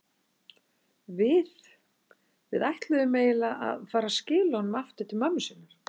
Við. við ætluðum eiginlega að fara að skila honum aftur til mömmu sinnar.